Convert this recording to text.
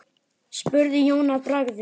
spurði Jón að bragði.